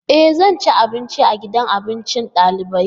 E! Zan ci abinci a gidan abincin dalibai.